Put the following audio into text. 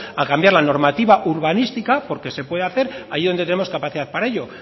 a cambiar la normativa urbanística porque se puede hacer allí donde tengamos capacidad para ello